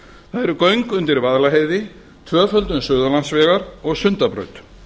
það eru göng undir vaðlaheiði tvöföldun suðurlandsvegar og sundabraut